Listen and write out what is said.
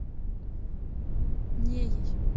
неей